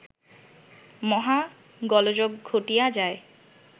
মহা গোলযোগ ঘটিয়া যায়